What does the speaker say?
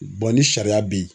ni sariya bɛ yen.